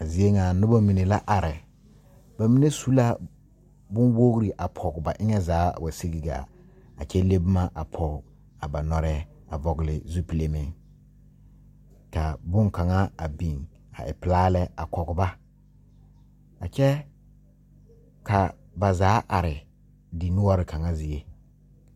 A zie ŋa a nobɔ mine la are ba mine su la bonwogre a pɔg ba eŋɛ zaa wa sige gaa a kyɛ le bomma a pɔg a ba nɔreɛɛ vɔgle zupile meŋ kaa bonkaŋa a biŋa a e pilaa lɛ a kɔg ba a kyɛɛ ka ba zaa are dinoɔre kaŋa zie.